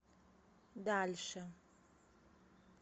дальше